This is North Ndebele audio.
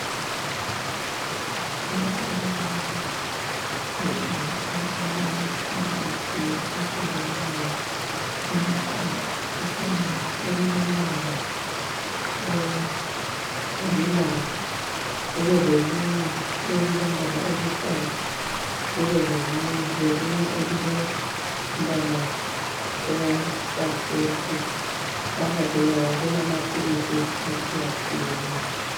Lapha kulamaphepha alamaphilisi ahlukeneyo amathathu. Kukhona elilombala olilanga ,kubelelinye elilombala oluhlaza ,kubelelinye elilombala osa purple . Phakathi kwawo kulamaphilisi atshiyatshiyeneyo.